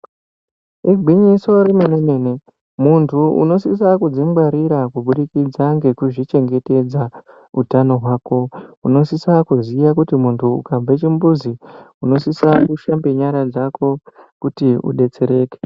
Igwinyiso remene-mene, muntu unosisa kudzingwarira kubudikidza ngekuzvichengetedza utano hwako, unosisa kuziya kuti muntu ukabve kuchimbuzi unosisa kushambe nyara dzako kuti udetsereke.